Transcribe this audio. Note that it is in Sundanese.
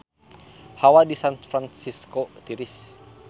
Hawa di San Fransisco tiris